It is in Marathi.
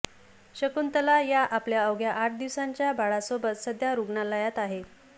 शकुंतला या आपल्या अवघ्या आठ दिवसांच्या बाळासोबत सध्या रुग्णालयात आहे